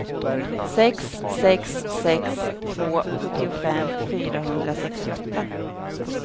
sex sex sex två sjuttiofem fyrahundrasextioåtta